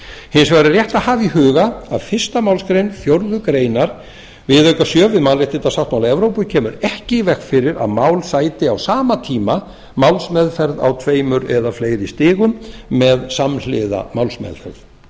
hins vegar er rétt að hafa í huga að fyrstu málsgrein fjórðu grein viðauka sjö við mannréttindasáttmála evrópu kemur ekki í veg fyrir að mál sæti á sama tíma málsmeðferð á tveimur eða fleiri stigum með samhliða málsmeðferð